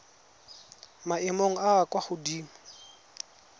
maemong a a kwa godimo